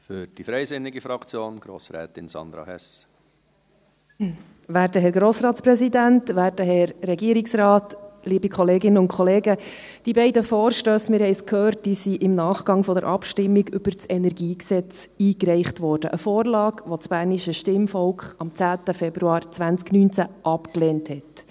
Die beiden Vorstösse – wir haben es gehört – wurden im Nachgang zur Abstimmung über das KEnG eingereicht, eine Vorlage, die das bernische Stimmvolk am 10. Februar 2019 abgelehnt hat.